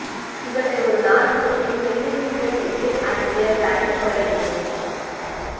இவற்றை ஒரு நாள் முழுவதும் வெந்நீரில் ஊற வைத்து அதை பிறகு அரைத்துக் கொள்ளவேண்டும்